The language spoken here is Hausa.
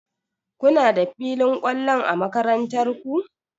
Kuna da filin kwallon a makarantar ku?